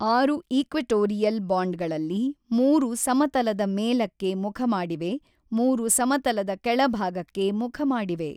ಆರು ಈಕ್ವೆಟೋರಿಯಲ್ ಬಾಂಡ್ಗಳಲ್ಲಿ ಮೂರು ಸಮತಲದ ಮೇಲಕ್ಕೆ ಮುಖಮಾಡಿವೆ ಮೂರು ಸಮತಲದ ಕೆಳಭಾಗಕ್ಕೆ ಮುಖಮಾಡಿವೆ.